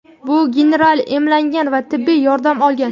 bu generallar emlangan va tibbiy yordam olgan.